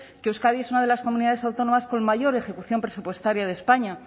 que euskadi es una de las comunidades autónomas con mayor ejecución presupuestaria de españa